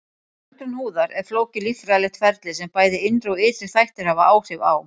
Öldrun húðar er flókið líffræðilegt ferli sem bæði innri og ytri þættir hafa áhrif á.